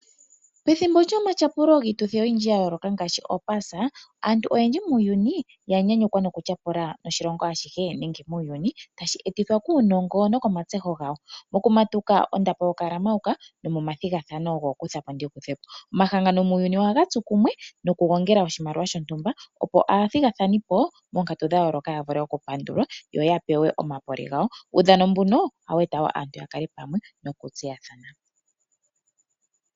Pethimbo lyomatyapulo giituthi oyindji ya yooloka ngaashi pOpaasa, aantu oyendji muuyuni ya nyanyukwa nokutyapula noshilongo ashihe nenge muuyuni tashi ethithwa kuunongo nokomatseho gawo. Okumatuka ondapo yokulamauka nomomathigathano gookutha po ndi kuthe po. Omahangano muuyuni ohaga tsu kumwe nokugongela oshimaliwa shontumba, opo aathigathanipo moonkatu dha yooloka ya vule okupandulwa yo ya pewe omapole gawo. Uudhano mbuno ohawu eta wo aantu ya kale pamwe nokutseyathana.